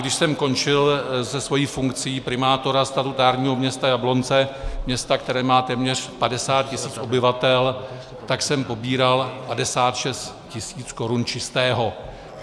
Když jsem končil se svou funkcí primátora statutárního města Jablonce, města, které má téměř 50 tisíc obyvatel, tak jsem pobíral 56 tisíc korun čistého.